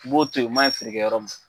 U b'o to yen o maɲin feerekɛ yɔrɔ ma.